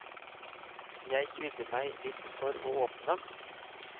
Jeg kvidde meg litt for å åpne den.